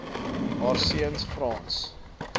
haar seuns frans